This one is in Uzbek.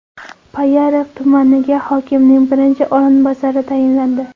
Payariq tumaniga hokimning birinchi o‘rinbosari tayinlandi.